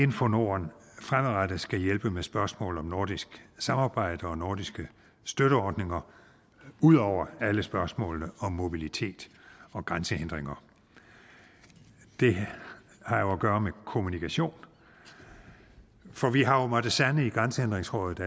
info norden fremadrettet skal hjælpe med spørgsmål om nordisk samarbejde og nordiske støtteordninger ud over alle spørgsmålene om mobilitet og grænsehindringer det har at gøre med kommunikation for vi har jo måttet sande i grænsehindringsrådet